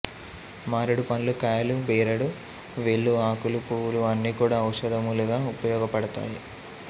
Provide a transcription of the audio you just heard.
మారేడు పండ్లు కాయలు బెరడు వేళ్ళు ఆకులు పూవులు ఆన్నీ కూడా ఔషధములుగా ఉపయోగపడతాయి